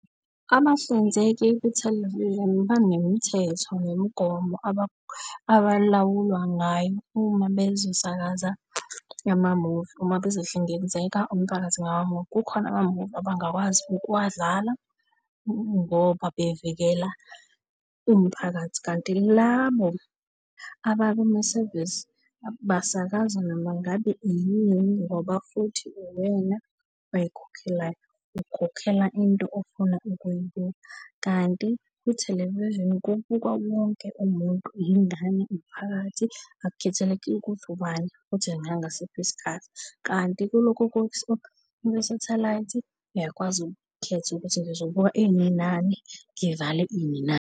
Abahlinzeki be-television banemithetho nemigomo abalawulwa ngayo uma bezosakaza ama-movie, uma bezohlinzeka umphakathi ngama-movie. Kukhona ama-movie abangakwazi ukuwadlala ngoba bevikela umphakathi. Kanti labo abakumasevisi basakaza noma ngabe iyini ngoba futhi uwena oy'khokhelayo, ukhokhela into ofuna ukuyibuka. Kanti kwi-television kubuka wonke umuntu, yingane, umphakathi akukhethelekile ukuthi ubani futhi nangasiphi isikhathi. Kanti kulokhu okwe-satellite uyakwazi ukukhetha ukuthi ngizobuka ini nani, ngivale ini nani.